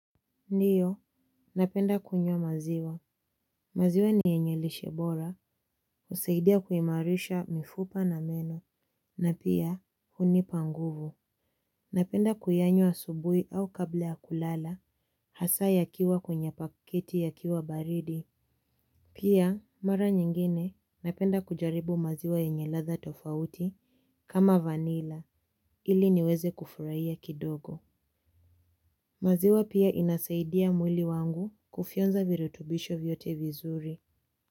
Ndiyo, napenda kunywa maziwa. Maziwa ni yenye lishebora, kuseidia kuimarisha mifupa na meno, na pia unipa nguvu. Napenda kuyanywa asubui au kabla ya kulala, hasa yakiwa kwenye pakiti yakiwa baridi. Pia, mara nyingine napenda kujaribu maziwa yenye latha tofauti kama vanila, ili niweze kufuraiya kidogo. Maziwa pia inasaidia mwili wangu kufionza virutubisho vyote vizuri.